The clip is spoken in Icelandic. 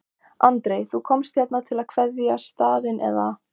Andri: Þú komst hérna til að kveðja staðinn eða?